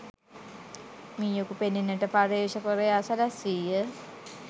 මීයකු පෙනෙන්නට පර්යේෂකවරයා සැලැස්වීය.